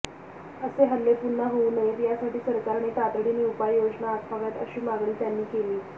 असे हल्ले पुन्हा होऊ नयेत यासाठी सरकारने तातडीने उपाययोजना आखाव्यात अशी मागणी त्यांनी केली